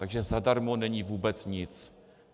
Takže zadarmo není vůbec nic.